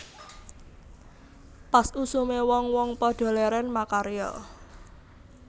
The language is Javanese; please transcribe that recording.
Pas usume wong wong padha leren makarya